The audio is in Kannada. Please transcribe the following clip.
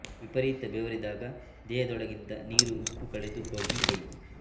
ವಿಪರೀತ ಬೆವರಿದಾಗ ದೇಹದೊಳಗಿಂದ ನೀರು ಉಪ್ಪು ಕಳೆದು ಹೋಗಿ ಕೈ